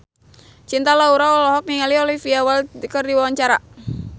Cinta Laura olohok ningali Olivia Wilde keur diwawancara